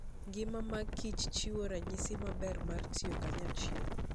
Ngima mag kichchiwo ranyisi maber mar tiyo kanyachiel.